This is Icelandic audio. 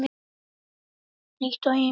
Hlýtt og enginn vindur.